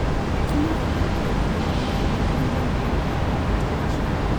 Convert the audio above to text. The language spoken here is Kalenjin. Kimwae kitig'in ole namdoi piik congenital hyperventilation